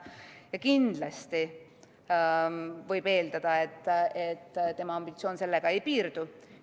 Ja kindlasti võib eeldada, et tema ambitsioon sellega ei piirdu.